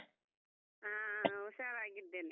ಹಾ, ಹಾ, ಹುಷಾರಾಗಿದ್ದೇನೆ.